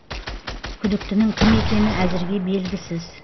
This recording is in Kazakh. күдіктінің кім екені әзірге белгісіз